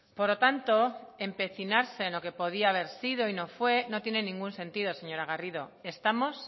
por lo tanto empecinarse en lo que podía haber sido y no fue no tiene ningún sentido señora garrido estamos